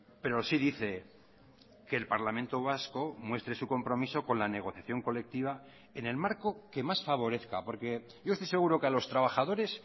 pero sí dice que el parlamento vasco muestre su compromiso con la negociación colectiva en el marco que más favorezca porque yo estoy seguro que a los trabajadores